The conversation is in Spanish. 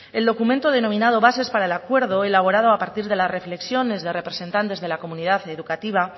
el documento denominado bases para el acuerdo elaborado a partir de las reflexiones de representantes de la comunidad educativa